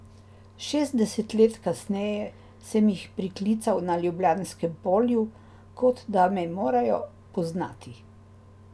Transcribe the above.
Šestdeset let kasneje sem jih priklical na Ljubljanskem polju, kot da me morajo poznati.